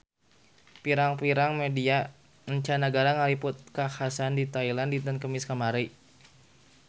Pirang-pirang media mancanagara ngaliput kakhasan di Thailand dinten Kemis kamari